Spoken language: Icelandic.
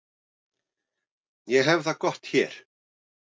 Ég hef það gott hér.